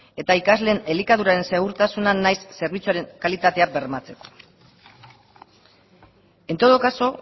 eta ikasleen elikaduraren segurtasuna nahiz zerbitzuaren kalitatea bermatzeko en todo caso